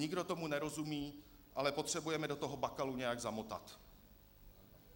Nikdo tomu nerozumí, ale potřebujeme do toho Bakalu nějak zamotat.